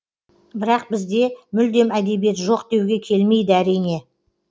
бірақ бізде мүлдем әдебиет жоқ деуге келмейді әрине